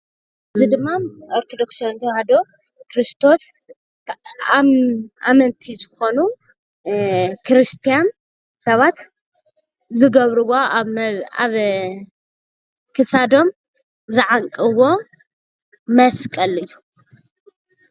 ኣመንቲ ክርስትና ኣብ ክሳዶም ዝኣስርዎም ክታብ ይበሃል።